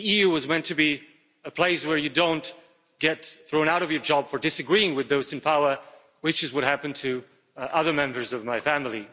The EU was meant to be a place where you don't get thrown out of your job for disagreeing with those in power, which is what happened to other members of my family.